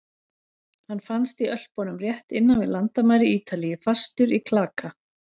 Hann fannst í Ölpunum rétt innan við landamæri Ítalíu, fastur í klaka.